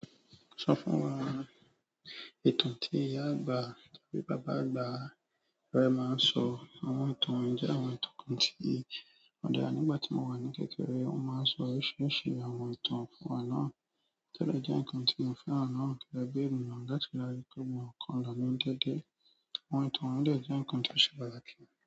Sọ fún wa ìtàn tí ìyá àgbà tàbí bàbá àgbà rẹ máa ń sọ. Àwọn ìtàn wọ́n jẹ́ àwọn ìtàn kan tí ó dà nígbà tí mo wà ní kékeré. Wọ́n máa ń sọ ọ̀ ṣíṣe àwọn ìtàn fún wa náà. Tẹ́lẹ̀ jẹ́ ǹkan tí mo fẹ́ràn náà kí a gbé nù. Gẹ́tò láti kọ́ mi ọ̀ràn kan lọ́wọ́ ń dẹ́dẹ́. Àwọn ìtàn wọ́n de jẹ́ ǹkan tí ó ṣe pàtàkì.